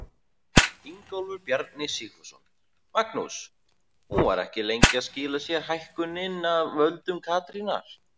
Ingólfur Bjarni Sigfússon: Magnús, hún var ekki lengi að skila sér hækkunin af völdum Katrínar?